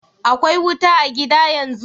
Akwai wuta a' gida yanzu?